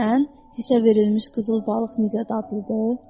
Bilirsən, hissə verilmiş qızıl balıq necə dadlıdır?